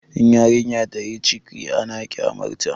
In yarinya tayi ciki ana kyamar ta